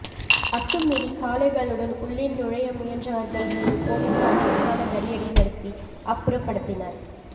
அத்துமீறி காளைகளுடன் உள்ளே நுழைய முயன்றவர்கள் மீது போலீசார் லேசான தடியடி நடத்தி அப்புறப்படுத்தினர்